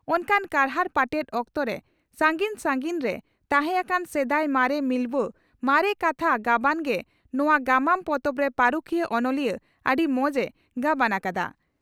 ᱚᱱᱠᱟᱱ ᱠᱟᱨᱦᱟᱲ ᱯᱟᱴᱮᱫ ᱚᱠᱛᱚᱨᱮ ᱥᱟᱹᱜᱤᱧ ᱥᱟᱹᱜᱤᱧ ᱨᱮ ᱛᱟᱦᱮᱸ ᱟᱠᱟᱱ ᱥᱮᱫᱟᱭ ᱢᱟᱨᱮ ᱢᱤᱞᱣᱟᱹ ᱢᱟᱨᱮ ᱠᱟᱛᱷᱟ ᱜᱟᱵᱟᱱ ᱜᱮ ᱱᱚᱣᱟ ᱜᱟᱢᱟᱢ ᱯᱚᱛᱚᱵᱨᱮ ᱯᱟᱹᱨᱩᱠᱷᱤᱭᱟᱹ ᱚᱱᱚᱞᱤᱭᱟᱹ ᱟᱹᱰᱤ ᱢᱚᱸᱡᱽ ᱮ ᱜᱟᱵᱟᱱ ᱟᱠᱟᱫᱼᱟ ᱾